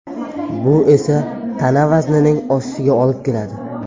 Bu esa tana vaznining oshishiga olib keladi.